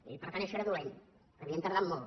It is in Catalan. i per tant això era dolent que havíem tardat molt